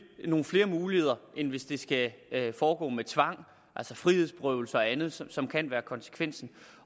nogle flere muligheder end hvis det skal foregå med tvang altså frihedsberøvelse og andet som som kan være konsekvensen